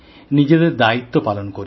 নিজেদের দায়িত্ব পালন করি